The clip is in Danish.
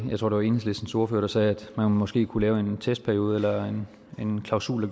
jeg tror det var enhedslistens ordfører der sagde at man måske kunne lave en testperiode eller en klausul